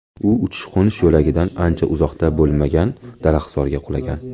U uchish-qo‘nish yo‘lagidan uncha uzoqda bo‘lmagan daraxtzorga qulagan.